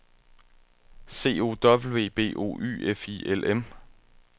C O W B O Y F I L M